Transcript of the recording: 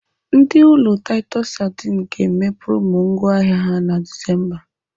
Ndị ụlọ taịtọs sadin ga-eme promo ngwá ahịa ha na Disemba.